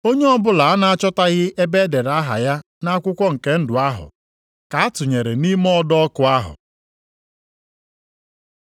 Onye ọbụla a na-achọtaghị ebe e dere aha ya nʼakwụkwọ nke ndụ ahụ, ka a tụnyere nʼime ọdọ ọkụ ahụ.